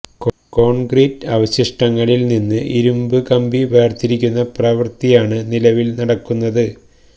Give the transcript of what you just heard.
concrete അവശിഷ്ടങ്ങളില് നിന്ന് ഇരുമ്പ് കമ്പി വേര്തിരിക്കുന്ന പ്രവര്ത്തിയാണ് നിലവില് നടക്കുന്നത്